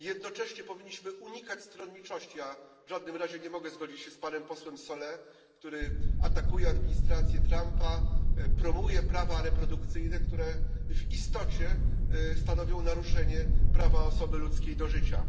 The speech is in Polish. Jednocześnie powinniśmy unikać stronniczości, a w żadnym razie nie mogę zgodzić się z panem posłem Solé, który atakuje administrację Trumpa, promuje prawa reprodukcyjne, które w istocie stanowią naruszenie prawa osoby ludzkiej do życia.